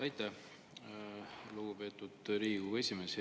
Aitäh, lugupeetud Riigikogu esimees!